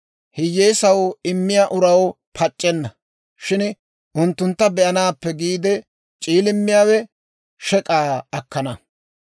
Hiyyeesaw immiyaa uraw pac'c'enna; shin unttuntta be'anaappe giide c'iilimmiyaawe shek'aa akkana.